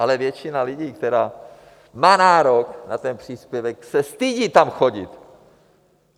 Ale většina lidí, která má nárok na ten příspěvek, se stydí tam chodit.